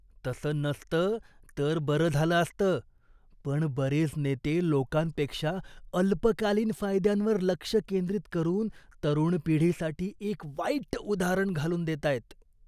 तसं नसतं तर बरं झालं असतं, पण बरेच नेते लोकांपेक्षा अल्पकालीन फायद्यांवर लक्ष केंद्रित करून तरुण पिढीसाठी एक वाईट उदाहरण घालून देतायत.